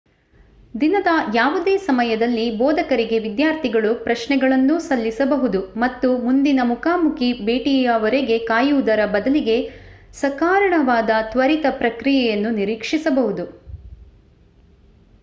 ದಿನದ ಯಾವುದೇ ಸಮಯದಲ್ಲಿ ಬೋಧಕರಿಗೆ ವಿದ್ಯಾರ್ಥಿಗಳು ಪ್ರಶ್ನೆಗಳನ್ನೂ ಸಲ್ಲಿಸಬಹುದು ಮತ್ತು ಮುಂದಿನ ಮುಖಾಮುಖಿ ಭೇಟಿಯವರೆಗೆ ಕಾಯುವುದರ ಬದಲಿಗೆ ಸಕಾರಣವಾದ ತ್ವರಿತ ಪ್ರತಿಕ್ರಿಯೆಯನ್ನು ನಿರೀಕ್ಷಿಸಬಹುದು